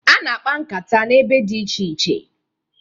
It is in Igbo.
A na-akpa nkata n'ebe dị iche iche.